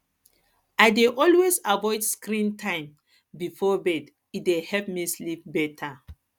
i dey always avoid screen time before bed e dey help me sleep better